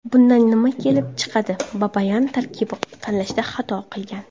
Bundan nima kelib chiqadi, Babayan tarkib tanlashda xato qilgan.